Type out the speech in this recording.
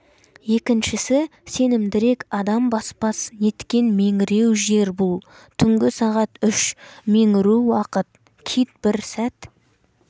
екіншісі сенімдірек адам баспас неткен меңіру жер бұл түнгі сағат үш меңіру уақыт кит бір сәт